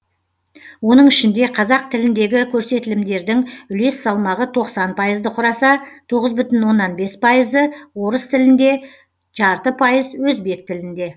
оның ішінде қазақ тіліндегі көресетілімдердің үлес салмағы тоқсан пайызды құраса тоғыз бүтін оннан бес пайызы орыс тілінде жарты пайыз өзбек тілінде